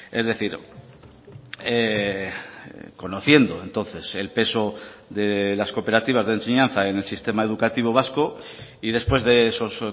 es decir conociendo entonces el peso de las cooperativas de enseñanza en el sistema educativo vasco y después de esos